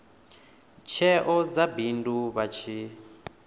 tsheo dza bindu vha tshi